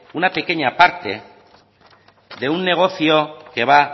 una pequeña parte de un negocio que va